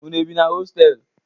Unu bi na hostelu?